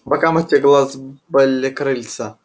а по бокам этих глаз были крыльца